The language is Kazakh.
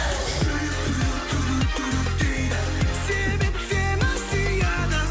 жүрек дейді себеп сені сүйеді